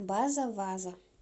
база ваза